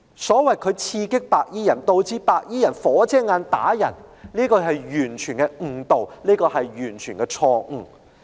所謂"他刺激白衣人，以致白衣人'火遮眼'而打人"的說法，是完全誤導和錯誤的。